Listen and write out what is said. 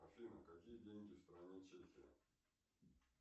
афина какие деньги в стране чехия